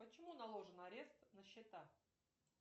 почему наложен арест на счета